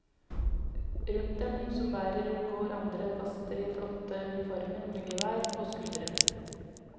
Rundt dem som bærer går andre gaster i flotte uniformer med gevær på skulderen.